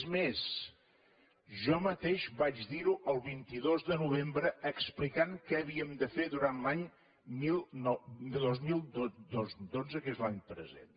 és més jo mateix vaig dir ho el vint dos de novembre explicant què havíem de fer durant l’any dos mil dotze que és l’any present